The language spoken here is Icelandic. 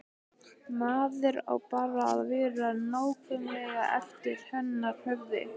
Maður á bara að vera nákvæmlega eftir hennar höfði.